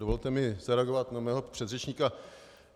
Dovolte mi zareagovat na svého předřečníka.